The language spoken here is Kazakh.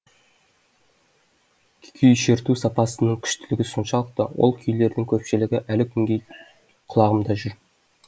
күй шерту сапасының күштілігі соншалықты ол күйлердің көпшілігі әлі күнге құлағымда жүр